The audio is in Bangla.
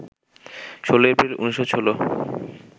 ১৬ এপ্রিল, ১৯১৬